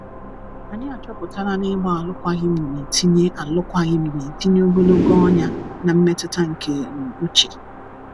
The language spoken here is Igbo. anyi achọpụtala na ịgba alụkwaghim na etinye alụkwaghim na etinye ogologo ọnya na mmetụta nke um uche